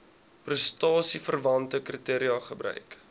prestasieverwante kriteria gebruik